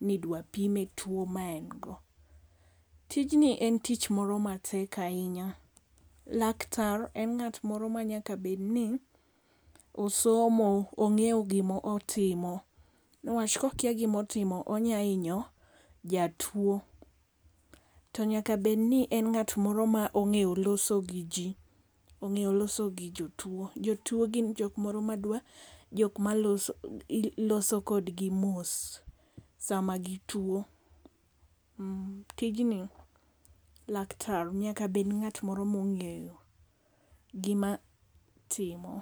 nidwa pime tuo ma en go. Tijni en tich moro matek ahinya. Laktar en ng'at moro manyaka bed ni osomo. Ong'eyo gimotimo. Newach kokia gimotimo to onyahinyo jatuo. To nyaka bed ni en ng'at ma ong'eyo loso gi ji, ong'eyo loso gi jotuo. Jotuo gin jok moro ma dwa jok maloso kodgi mos sama gituo. Tijni laktar nyaka bed ng'at moro mong'eyo gima otimo.